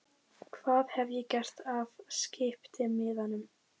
Hvað hef ég gert af skiptimiðanum?